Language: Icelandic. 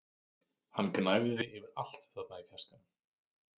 Hann gnæfði yfir allt þarna í fjarskanum!